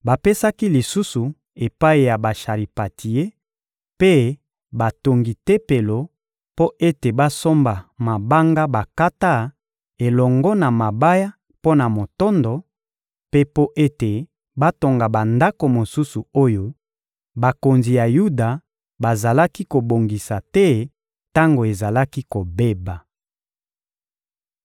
bapesaki lisusu epai ya basharipantie mpe batongi Tempelo mpo ete basomba mabanga bakata elongo na mabaya mpo na motondo, mpe mpo ete batonga bandako mosusu oyo bakonzi ya Yuda bazalaki kobongisa te tango ezalaki kobeba.